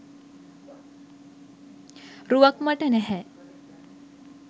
රුවක් මට නැහැ.